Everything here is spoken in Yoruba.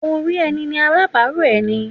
Orí ẹni ni alábàárò ẹni.